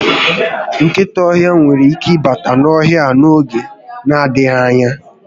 Nkịta ọhịa nwere ike ịbata n'ohịa a n'oge n'adịghị anya